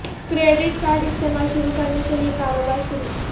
credit card استعمال شروع کرنے کے لئے کاروبار شروع